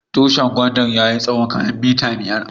Tushin gwandan ya yi tsawo kaman mitar biyar.